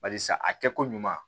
Barisa a kɛ ko ɲuman